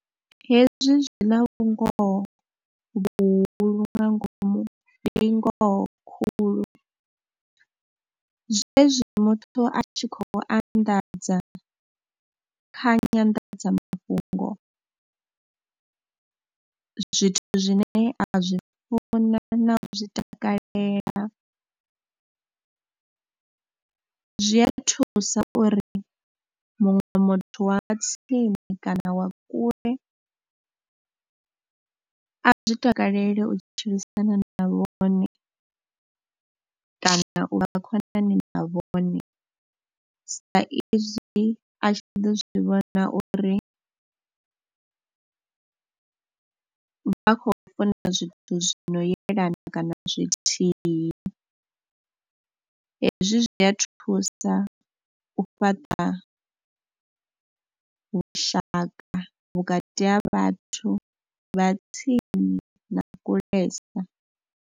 Hezwi zwi na vhungoho vhuhulu nga ngomu, ndi ngoho khulu. Zwezwi muthu a tshi khou anḓadza kha nyandadzamafhungo zwithu zwine a zwi funa na u zwi takalela zwi a thusa uri muṅwe muthu wa tsini kana wa kule a zwi takalele u tshilisana na vhone kana u vha khonani a vhone, saizwi a tshi ḓo zwi vhona uri vha khou funa zwithu zwi no yelana kana zwithihi. Hezwi zwi a thusa u fhaṱa vhushaka vhukati ha vhathu vha tsini na kulesa.